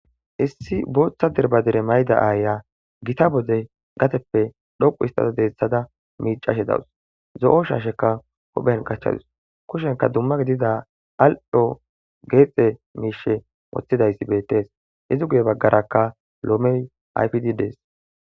issi booththa derbadere mayda aaya gita bode gateppe dhoqu istada deeththada miicashe dawus zo7o shaasheka huphen gachchadus kushenka dumma gidida al7ho geexe miishe moththidayssi bettes izi guye baggarakka loomey ayfidds